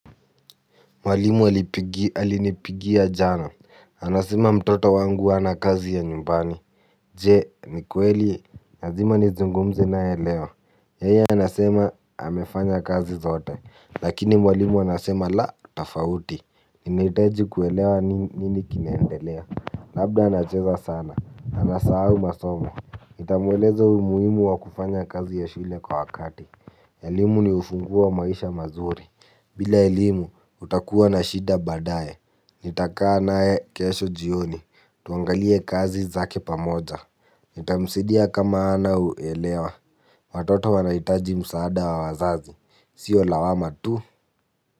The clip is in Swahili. Mwalimu alinipigia jana, anasema mtoto wangu ana kazi ya nyumbani. Je, ni kweli, lazima nizungumze naye leo yeye anasema amefanya kazi zote, lakini mwalimu anasema la tofauti. Ninahitaji kuelewa nini kinaendelea, labda anacheza sana, anasahau masomo, nitamweleza umuhimu wa kufanya kazi ya shule kwa wakati. Elimu ni ufunguo wa maisha mazuri. Bila elimu utakuwa na shida badaye. Nitakaa naye kesho jioni. Tuangalie kazi zake pamoja. Nitamsaidia kama hana uelewa. Watoto wanahitaji msaada wa wazazi. Sio lawama tu.